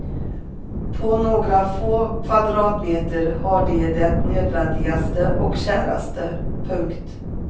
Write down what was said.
På några få kvadratmeter har de det nödvändigaste och käraste. punkt